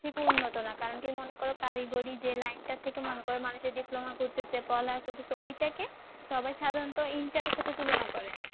থেকে উন্নত না। কারণ কি মনে করো কারিগরি যে line টা থেকে মনে করো মানুষের diploma করতেছে, পড়া লেখা করতেছে ঐটা কে সবাই সাধারনত inter এর সাথে তুলনা করে।